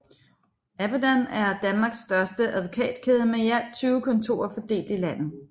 Advodan er Danmarks største advokatkæde med i alt 20 kontorer fordelt i landet